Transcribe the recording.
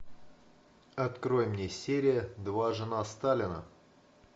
открой мне серия два жена сталина